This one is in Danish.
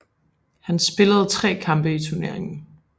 Han spillede 3 kampe i turneringen